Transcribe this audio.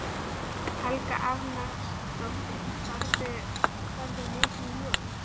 Helga Arnardóttir: Ferð þú mikið í ljós?